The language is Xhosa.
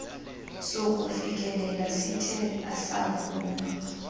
sokufikelela sithe asavunywa